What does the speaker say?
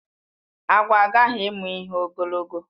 Agwo aghaghị ịmụ ihe ogologo